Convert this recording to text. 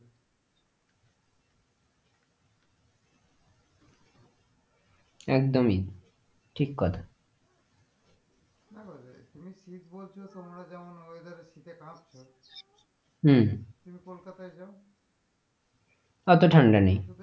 একদমই ঠিক কথা তুমি শীত বলছো তোমরা যেমন weather এ শীতে কাঁপছো হম হম তুমি কলকাতায় যাও অত ঠান্ডা নেই,